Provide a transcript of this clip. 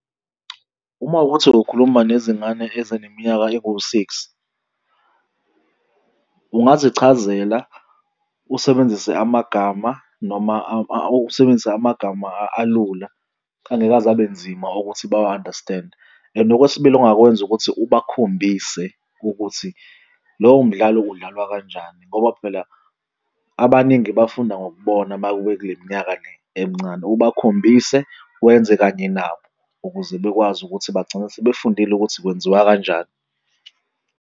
Uma kuwukuthi ukukhuluma nezingane ezineminyaka enguwu-six ungazichazela usebenzise amagama noma usebenzise amagama alula, angeke aze abe nzima ukuthi bawa-understand-e. And okwesibili ongakwenza, ukuthi ubakhombise ukuthi lowo mdlalo udlalwa kanjani ngoba phela abaningi bafunda ngokubona uma kube kule minyaka le emncane. Ubakhombise wenze kanye nabo ukuze bekwazi ukuthi bagcine sebefundile ukuthi kwenziwa kanjani.